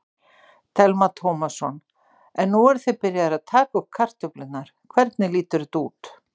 Telma Tómasson: En nú eruð þið byrjaðir að taka upp kartöflurnar, hvernig lítur þetta út?